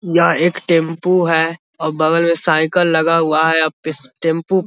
यह एक टेंपू है और बगल में साइकल लगा हुआ है अब इस टेंपू --